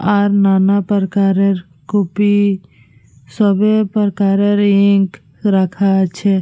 আর নানাপ্রকারের কপি সবই প্রকারের ইন্ক্ রাখা আছে।